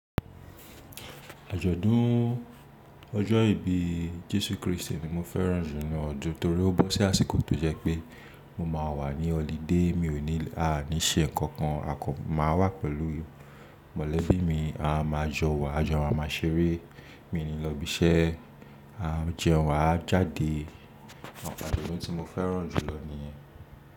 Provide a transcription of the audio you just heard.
Àjọ̀dún ọjọ́ ìbí Jésù Kristi ni mo fẹ́ràn jùlọ nínú ọdún torí ó bọ́ sí àsìkò tó jẹ́ pé mo máa wà ní holiday mi ò ní àní ṣe nǹkan kan. A kò máa wà pẹ̀lú mọ̀lẹ́bí mi, a máa jọ wà, a jọ má ma ṣeré, mi ò ní lọ ibi iṣẹ́, a jẹun, a jáde. Àwọn ǹkan ti mo fi n mo fẹ́ràn jùlọ nìyẹn.